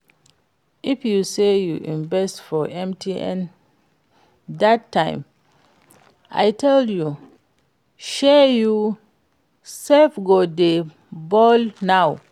If to say you invest for MTN dat time I tell you, shey you sef go dey ball now